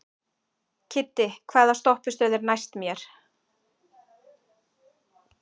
Kiddi, hvaða stoppistöð er næst mér?